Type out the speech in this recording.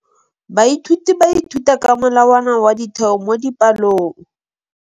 Baithuti ba ithuta ka molawana wa motheo mo dipalong.